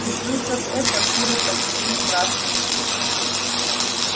услышав это куры подняли страшный крик